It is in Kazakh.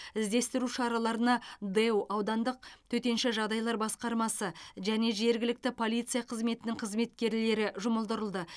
іздестіру шараларына дэу аудандық төтенша жағдайлар басқармасы және жергілікті полиция қызметінің қызметкерлері жұмылдырылды